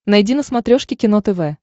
найди на смотрешке кино тв